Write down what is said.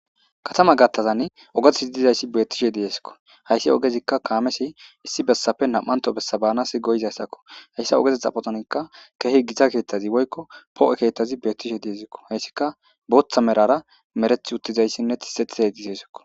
Katama gattazan ogeteti dizayssi beettishe dieskko hayssi ogezikka kaamesi issi bessafe nam7anto bessa baanas goyizayssakko hayssa ogeze xaphotonikka keehi gita keettazi woykko poo7e keettazi beettishe diesikko hayssikka booththa merara mereth uttizayssinne tixetiey gizesikko.